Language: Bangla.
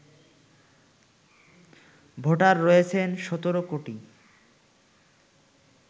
ভোটার রয়েছেন ১৭ কোটি